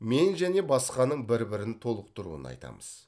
мен және басқаның бір бірін толықтыруын айтамыз